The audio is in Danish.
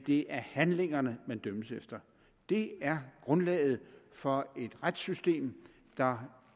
det er handlingerne man dømmes efter det er grundlaget for et retssystem der